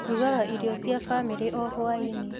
Ndugaga irio cia famĩrĩ o hwainĩ.